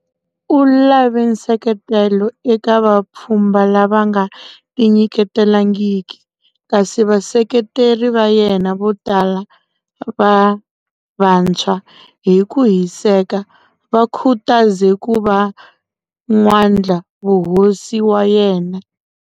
U lave nseketelo eka vapfhumba lava nga tinyiketelangiki, kasi vaseketeri va yena vo tala va vantshwa hi ku hiseka va khutaze ku va n'wandlavuhosi wa yena.